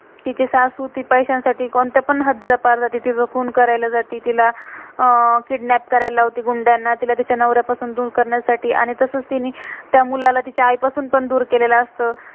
तिची सासू ती पैस्याँ-साठी कोणत्या पण, हद्दिला पार जाती. तिचं खून करायला जाती, तिला अह किडनैप kidnap करायला लावती गुन्द्याना. तिला तिच्या नव्र्यापासून दुर करण्यासाठी, आणि तसंच त्यानी त्या मुलाला तेच्या आई पासून पण दुर केलेलं